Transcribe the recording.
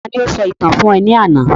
Ta ni o sọ ìtàn fún ọ ní àná